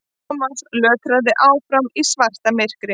Thomas lötraði áfram í svartamyrkri.